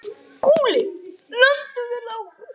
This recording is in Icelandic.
SKÚLI: Lömduð þið Lárus?